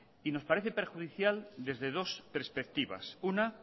y nos parece perjudicial desde dos perspectivas una